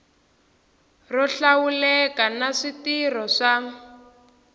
ro hlawuleka na switirho swa